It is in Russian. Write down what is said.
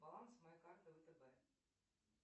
баланс моей карты втб